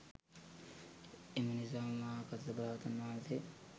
එනිසාම මහා කස්සප රහතන් වහන්සේ